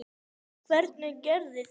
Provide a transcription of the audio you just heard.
Hvernig gerirðu þetta?